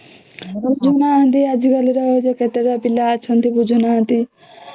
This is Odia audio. ହୁଁ ଆଜି କଲି ର କେତେ ପିଲା ଅଛନ୍ତି ବୁଝୁ ନାହାନ୍ତି